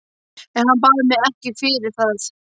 En hann bað mig ekki fyrir það.